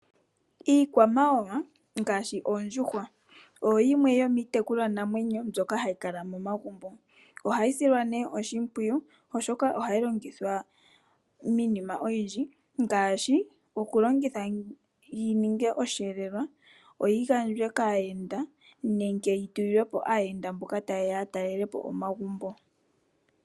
Iikwamawawa ngaashi oondjuhwa oyo yimwe yomiitekulwanamwenyo mbyoka hayi kala momagumbo . Ohayi silwa oshimpwiyu, oshoka ohayi longithwa miinima oyindji ngaashi okulongithwa yiningwe osheelelwa , yigandjwe aayenda nenge yitulilwepo aayenda mboka taya talelepo omagumbo.